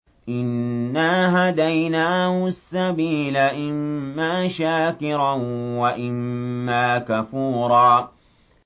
إِنَّا هَدَيْنَاهُ السَّبِيلَ إِمَّا شَاكِرًا وَإِمَّا كَفُورًا